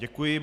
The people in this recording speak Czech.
Děkuji.